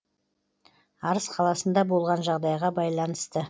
арыс қаласында болған жағдайға байланысты